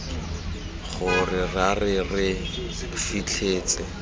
gore ra re re fitlhetse